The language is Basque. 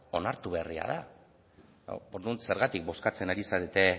onartu berria da orduan zergatik bozkatzen ari zarete